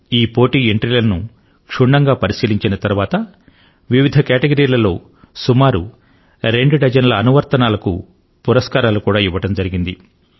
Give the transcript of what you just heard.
ఈ పోటీ యొక్క ఎంట్రీలను క్షుణ్ణంగా పరిశీలించిన తరువాత వివిధ కేటగిరీలలో సుమారు రెండు డజన్ ల యాప్స్ కు పురస్కారాలు కూడా ఇవ్వడం జరిగింది